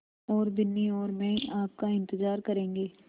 और बिन्नी और मैं आपका इन्तज़ार करेंगे